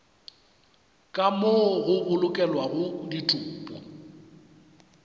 ka moo go bolokelwago ditopo